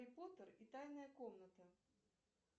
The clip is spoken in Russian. гарри поттер и тайная комната